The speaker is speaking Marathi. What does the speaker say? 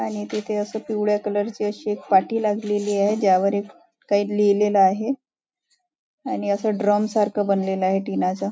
आणि तिथे असं पिवळ्या कलर ची अशी एक पाठी लागलेली आहे ज्यावर काही लिहिलेल आहे आणि असं ड्रम सारख बनलेल आहे टिनाच.